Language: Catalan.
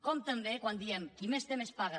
com també quan diem qui més té més paga